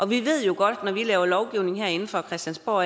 vi ved jo godt at når vi laver lovgivning herinde fra christiansborg